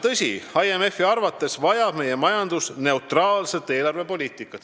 Tõsi, IMF-i arvates vajab meie majandus neutraalset eelarvepoliitikat.